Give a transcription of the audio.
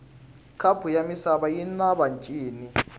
khapu yamisava yinavatjini